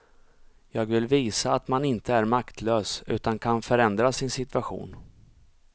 Jag vill visa att man inte är maktlös, utan kan förändra sin situation.